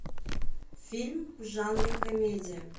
фильм в жанре комедия